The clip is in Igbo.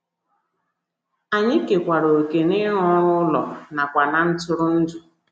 Anyị kekwaara òkè n’ịrụ ọrụ ụlọ nakwa ná ntụrụndụ. ”